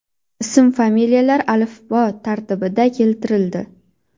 Ism-familiyalar alifbo tartibida keltirildi.